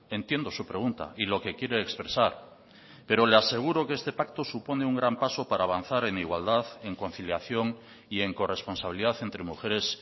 entiendo su pregunta y lo que quiere expresar pero le aseguro que este pacto supone un gran paso para avanzar en igualdad en conciliación y en corresponsabilidad entre mujeres